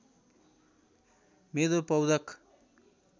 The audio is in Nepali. मेरो पौरख